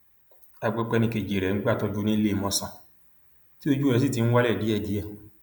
a gbọ pé ẹnì kejì rẹ ń gbàtọjú lọwọ níléemọsán tí ojú rẹ sì ti ń wálẹ díẹdíẹ